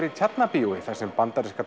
í Tjarnarbíói þar sem bandaríska